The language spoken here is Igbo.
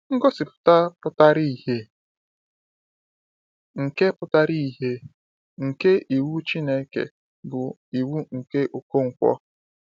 Ngosipụta pụtara ìhè nke pụtara ìhè nke iwu Chineke bụ Iwu nke Okonkwo.